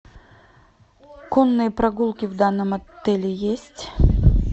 конные прогулки в данном отеле есть